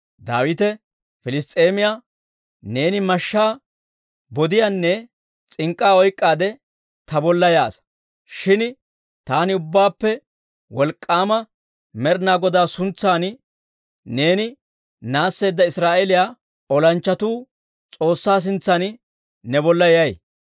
Daawite Piliss's'eemiyaa, «Neeni mashshaa, bodiyaanne s'ink'k'aa oyk'k'aade ta bolla Iyyaasa; shin taani Ubbaappe Wolk'k'aama Med'inaa Godaa suntsan, neeni naasseedda Israa'eeliyaa olanchchatuu S'oossaa suntsan ne bolla yay.